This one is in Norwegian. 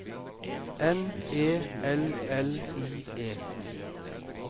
N E L L I E